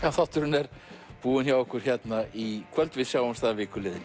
þátturinn er búinn hjá okkur í kvöld við sjáumst að viku liðinni